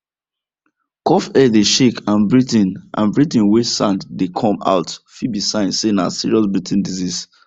coughhead dey shake and breathing and breathing way sound dey come out fit be sign say na serious breathing disease